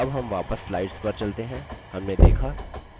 अब हम वापस slides पर चलते हैं